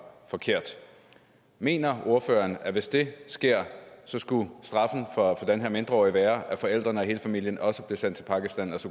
forkert mener ordføreren at hvis det skete skulle straffen for den her mindreårige være at forældrene og hele familien også blev sendt til pakistan